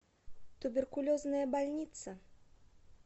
туберкулезная больница